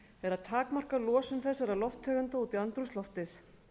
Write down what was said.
er að takmarka losun þessara lofttegunda út í andrúmsloftið